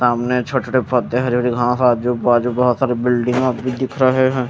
सामने छोटे छोटे पोधे है हा आजू बाजू बोत सारी बिल्डिंग आप ये दिख रहे है।